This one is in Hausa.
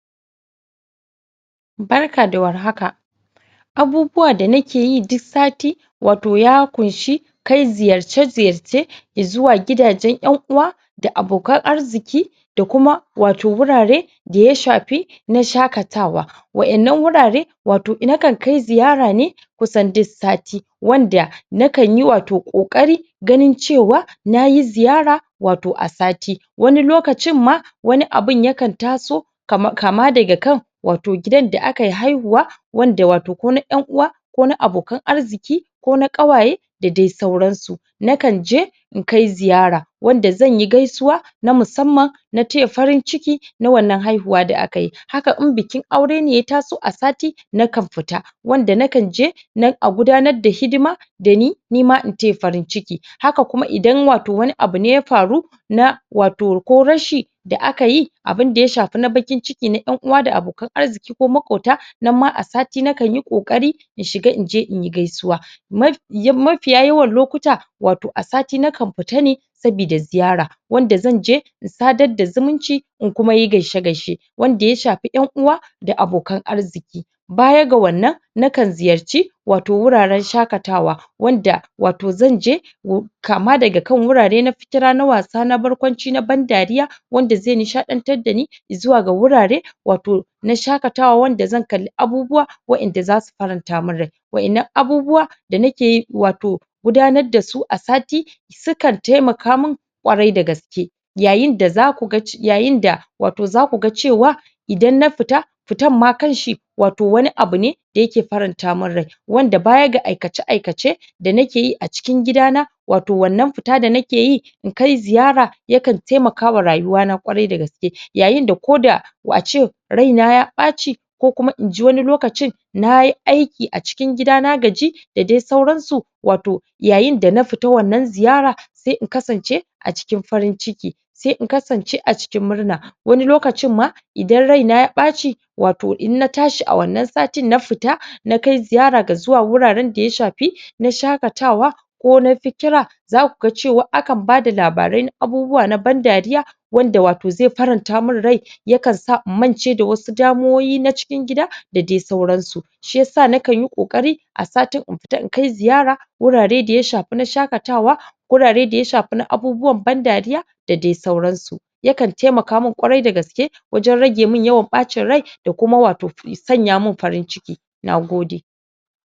Barka da warhaka abubuwa da nake yi duk sati wato ya ƙunshi kai ziyarce ziyarce zuwa gidajen 'yan uwa da abokan arziki da kuma wato wurare da ya shafi na shaƙatawa waɗannan wurare wato na kan kai ziyara ne kusan duk sati wanda na kan yi wato ƙoƙari ganin cewa nayi ziyara wato a sati wani lokacin ma wani abun ya kan taso kama daga kan wato gidan da aka yi haihuwa wanda wato ko na ɗan uwa ko na abokan arziki ko na ƙawaye da dai sauransu na kan je in kai ziyara wanda zan yi gaisuwa na musamman na taya farin ciki na wannan haihuwa da aka yi haka in bikin aure ne ya taso a sati na kan fita wanda na kan je nan a gudanar da hidima da ni nima in taya farin ciki haka kuma idan wato wani abu ne ya faru na wato ko rashi da aka yi abinda ya shafi na baƙin ciki na 'yan uwa da abokan arziki ko maƙota nan ma a sati na kanyi ƙoƙari in shiga in je in yi gaisuwa mafiya yawan lokuta wato a sati na kan fita ne sabida ziyara wanda zanje in sadar da zumunci in kuma yi gaishe gaishe wanda ya shafi "yan uwa da abokan arziki baya ga wannan na kan ziyarci wato wuraren shaƙatawa wanda wato zanje kama daga kan wurare na fikira na wasa na barkwanci na ban dariya wanda zai nishaɗantar dani zuwa ga wurare wato na shaƙatawa wanda zan kalli abubuwa waɗanda za su faranta min rai waɗannan abubuwa da nake yi wato gudanar dasu a sati su kan taimaka min ƙwarai da gaske yayin da za ku ga za ku ga cewa idan na fita fitanma kan shi wato wani abu ne da yake faranta min rai wanda bayan ga aikace aikace da nake yi a cikin gida na wato wannan fita da nake yi in kai ziyara ya kan taimakawa rayuwana ƙwarai dagaske yayin da ko da a ce raina ya ɓaci ko kuma inji wani lokcin na yi aiki a cikin gida nagaji da dai sauran su wato yayin da na fita wannan ziyara sai in kasance a cikin farin ciki sai in kasance a cikin murna wani lokacin ma idan raina ya ɓaci wato in na tashi a wannan satijn na fita na kai ziyara ga zuwa wuraren da ya shafi na shaƙatawa ko na fikira ko na fikira za ku ga cewa akan bada labarai na abubuwa na ban dariya wanda wato zai faranta min rai ya kan sa in mance da wasu damuwoyi na cikin gida da dai sauran su shi yasa na kan yi ƙoƙari a satin in fita in kai ziyara wurare da ya shafi na shaƙatawa wurare da ya shafi na abubuwan ban dariya da dai sauran su ya kan taimaka min ƙwarai da gaske wajen rage mun yawan ɓacin rai da kuma wato ya sanya mun farin ciki nagode